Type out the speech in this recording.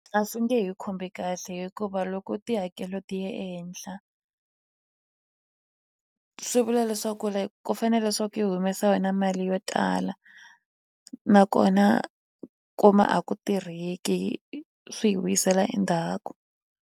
A swi nge he khumbi kahle hikuva loko tihakelo ti ya ehenhla swi vula leswaku ri ku fanele swa ku hi humesa yona mali yo tala nakona kuma a ku tirheki swi hi vuyisela endzhaku.